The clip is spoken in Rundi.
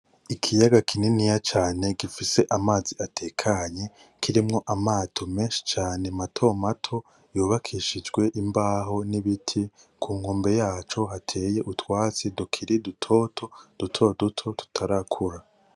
Ikiyaga kininiya cane gifise amazi atekanye kirimwo amato menshi cane mato mato yubakishijwe imbaho n’ibiti, ku nkombe yaco hateye utwatsi tukiri dutoto dutoduto tutarakura.